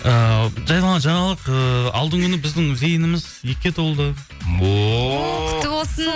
ыыы жай ғана жаңалық ыыы алдыңғы күні біздің зейініміз екіге толды о құтты болсын